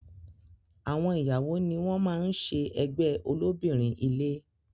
Àwọn ìyàwó ni wọn máa ń ṣe ẹgbẹ́ ó lóbìnrin ilé